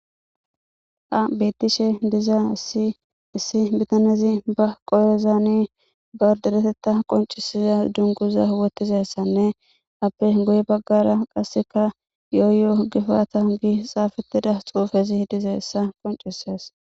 Ha betishshe diza issi bitanezi dereteththa qonccisiza dunguzo mayo mayidi qase guye baggara yoyoyo giza xufera dizayissa besses